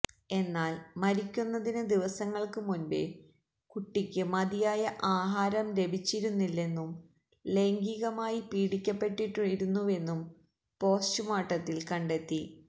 എന്നാല് മരിക്കുന്നതിന് ദിവസങ്ങള്ക്ക് മുന്പേ കുട്ടിക്ക് മതിയായ ആഹാരം ലഭിച്ചിരുന്നില്ലെന്നും ലൈംഗീകമായി പീഡിപ്പിക്കപ്പെട്ടിരുന്നുവെന്നും പോസ്റ്റ്മോര്ട്ടത്തില് കണ്ടെത്തി